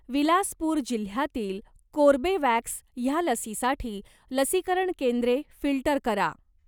विलासपूर जिल्ह्यातील कोर्बेवॅक्स ह्या लसीसाठी लसीकरण केंद्रे फिल्टर करा.